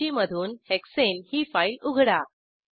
सूचीमधून हेक्साने ही फाईल उघडा